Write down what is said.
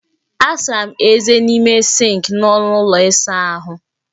Asara m eze n'ime sịnkị nọ n'ụlọ ịsa ahụ